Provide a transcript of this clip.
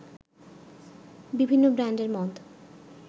বিভিন্ন ব্র্যান্ডের মদ